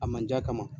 A manj'a kama